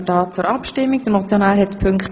Möchte der Motionär noch einmal das Wort?